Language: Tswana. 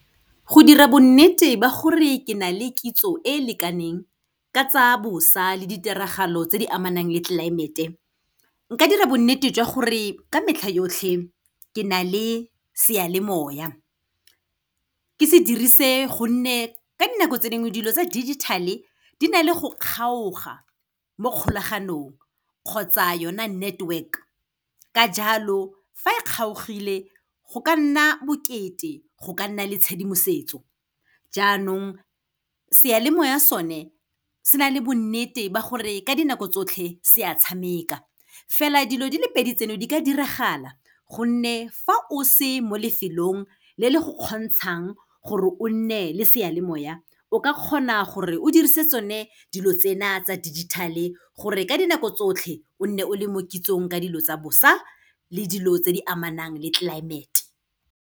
Go dira bonnete ba gore ke na le kitso e e lekaneng ka tsa bosa le ditiragalo tse di amanang le climate-e, nka dira bonnete jwa gore ka metlha yotlhe ke na le seyalemoya. Ke se dirise gonne ka dinako tse dingwe, dilo tsa digital-e di na le go kgaoga mo kgolaganong kgotsa yona network. Ka jalo, fa e kgaogile go ka nna bokete go ka nna le tshedimosetso, jaanong seyalemoya sone se na le bonnete ba gore ka dinako tsotlhe se a tshameka. Fela dilo di le pedi tseno di ka diragala gonne fa o se mo lefelong le le go kgontshang gore o nne le seyalemoya, o ka kgona gore o dirise tsone dilo tsena tsa digital-e gore ka dinako tsotlhe, o nne o le mo kitsong ka dilo tsa bosa le dilo tse di amanang le climate-e.